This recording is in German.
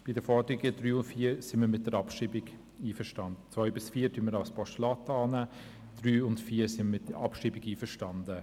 Bei den Forderungen 3 und 4 sind wir mit der Abschreibung einverstanden.